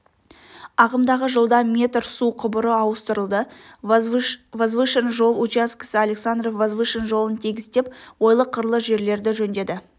ағымдағы жылда метр су құбыры ауыстырылды возвышен жол учаскесі александров возвышен жолын тегістеп ойлы-қырлы жерлерді жөндеді